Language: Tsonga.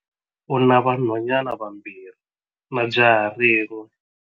U na vanhwanyana vambirhi na jaha rin'we.